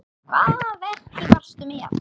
Hvaða verki varstu með?